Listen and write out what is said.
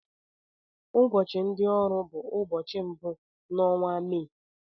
Ụbọchị ndị ọrụ bụ ụbọchị mbụ n'onwa Mee.